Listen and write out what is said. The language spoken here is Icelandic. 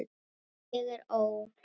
ég er ó.